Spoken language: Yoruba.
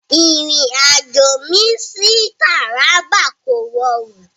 Ìrìn-àjò mi sí Taraba kò rọrùn.